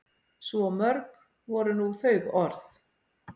Svo mörg voru nú þau orð.